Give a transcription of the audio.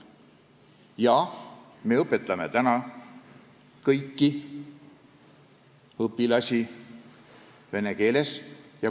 Jaa, me õpetame kõiki õpilasi vene keeles.